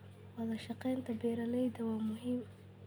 Wadashaqeynta beeralayda waa muhiim.